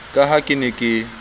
ka ha ke ne ke